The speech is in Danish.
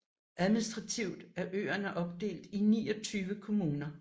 Administrativt er øerne opdelt i 29 kommuner